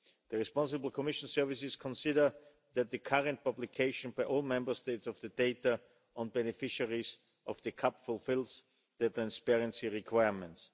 The responsible Commission services consider that the current publication by all Member States of the data on beneficiaries of the CAP fulfils the transparency requirements.